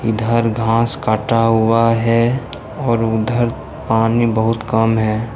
इधर घास काटा हुआ है और उधर पानी बहुत कम है।